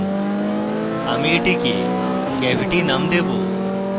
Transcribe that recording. আমি এটিকে cavity নাম দেবো